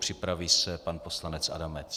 Připraví se pan poslanec Adamec.